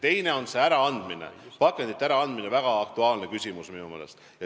Teine asi on pakendite äraandmine, väga aktuaalne küsimus minu meelest.